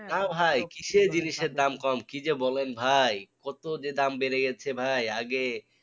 না ভাই কিসের জিনিসের দাম কম কি যে বলেন ভাই কত যে দাম বেড়ে গেছে ভাই আগে